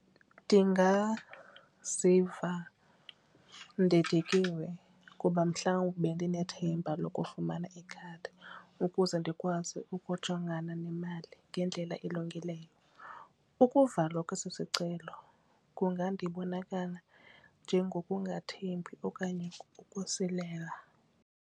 Ndingaziva ndidikiwe kuba mhlawumbi bendinethemba lokufumana ikhadi ukuze ndikwazi ukujongana nemali ngendlela elungileyo. Ukuvalwa kwesi sicelo kungandibonakala njengokungathembi okanye ukusilela.